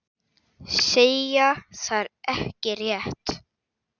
Segja það ekki rétt.